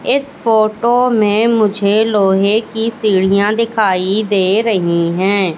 इस फोटो में मुझे लोहे की सीढ़ियां दिखाई दे रही हैं।